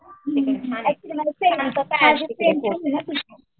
हुं